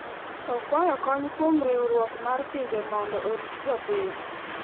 Okwayo kony kuom riwruok mar pinje mondo orit jopiny.